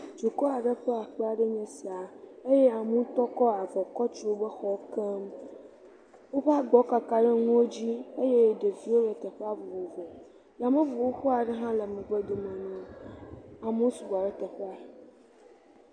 Duka aɖe ƒe aƒe enye sia eye amewo ŋutɔ kɔ avɔ kɔ tu woƒe xɔwo keŋ. Woƒe agbawo kaka ɖe nuwo dzi eye ɖeviwo le teƒea vovovo. Yameŋu xoxo aɖe hã le megbe dome na wo. Amewo sugbɔ ɖe teƒea.